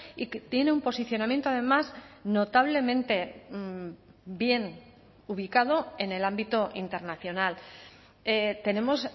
y que tiene un posicionamiento además notablemente bien ubicado en el ámbito internacional tenemos